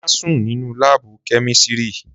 Má sùn nínú láàbù kẹ́mísírì